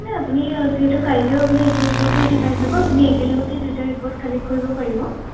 একো নাই আপুনি যিহেতু কাইলৈ আপুনি ইটো report ও আহি পাই যাব আপুনি একেলগতে দুয়োটা report collect কৰিব পাৰিব